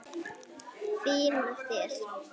Fín af þér.